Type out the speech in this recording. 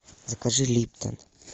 закажи липтон